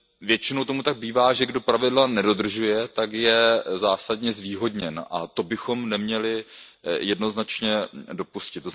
Většinou tomu tak bývá, že kdo pravidla nedodržuje, tak je zásadně zvýhodněn, a to bychom neměli jednoznačně dopustit.